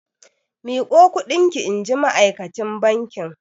Miƙo kuɗin ki! inji ma'akacin bankin.